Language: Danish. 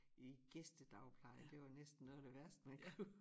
I gæstedagpleje det var næsten noget af det værste man kunne